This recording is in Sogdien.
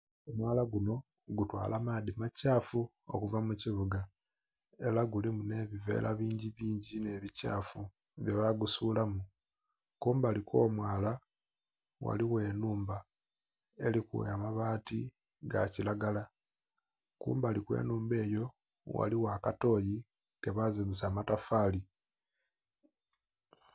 Omwaala gunho gutwala maaddhi ma kyafu okuva mu kibuga era gulimu nhe bivera bingi bingi nhe bikyaafu bye ba gusuulamu, kumbali kwo mwaala ghaligho enhumba eriku amabati aga kilagala. Kumbali kwe nhandha eyo, ghaligho akatoyi ke bazimbisa amatofali.